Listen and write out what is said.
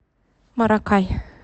маракай